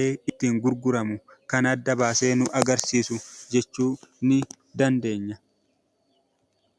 itti gurguramu kan adda baasee nu hubachiisu jechuu ni dandeenya.